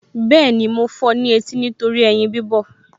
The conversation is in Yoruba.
Bẹ́ẹ̀ni, mo fọ ní etí nítorí ẹyin bíbọ̀